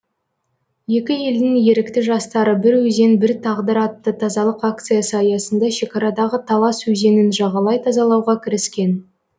екі елдің ерікті жастары бір өзен бір тағдыр атты тазалық акциясы аясында шекарадағы талас өзенін жағалай тазалауға кіріскен